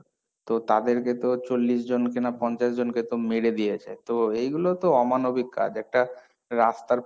তো তাদেরকে তো চল্লিশ জনকে না পঞ্চাশ জনকে তো মেরে দিয়েছে, তো এইগুলো তো অমানবিক কাজ, একটা রাস্তার,